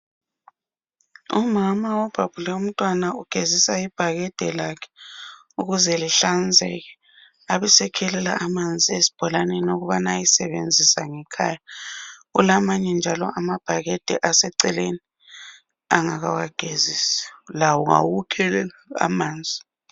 Umama obhabhule umntwana ugezisa ibhakede lakhe ukuze lihlanzeke abese khelela amanzi esibholaneni ukuze ayesebenzisa ngekhaya ulamanye njalo amabhakede aseceleni angakawagezisi lawo ngawokukhelela amanzi